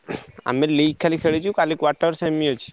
ଆମେ ଲିକାଲି ଖେଳିଛୁ କାଲି quarter semi ଅଛି।